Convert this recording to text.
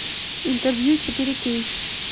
интервью четыре кей